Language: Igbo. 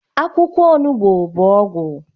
Akwụkwọ onugbu bụ ọgwụ